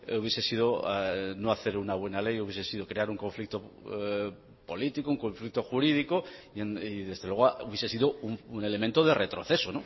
hubiese sido no hacer una buena ley hubiese sido crear un conflicto político un conflicto jurídico y desde luego hubiese sido un elemento de retroceso